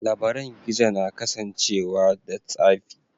Labaran gizo na kasancewa da tsafi.